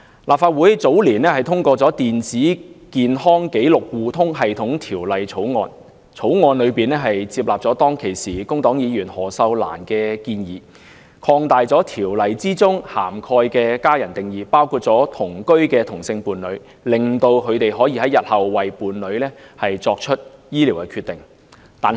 立法會早年通過《電子健康紀錄互通系統條例草案》，接納了當時工黨議員何秀蘭的建議，擴大條例中"家人"的定義，包括了同居的同性伴侶，使他們可在日後為其伴侶作出醫療決定。